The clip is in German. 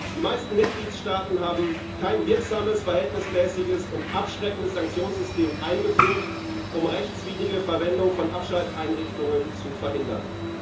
Die meisten Mitgliedstaaten haben kein wirksames, verhältnismäßiges und abschreckendes Sanktionssystem eingeführt, um rechtswidrige Verwendung von Abschalteinrichtungen zu verhindern.